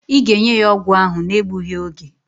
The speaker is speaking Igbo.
Ị ga-enye ya ọgwụ ahụ na-egbughi oge!